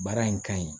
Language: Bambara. Baara in ka ɲi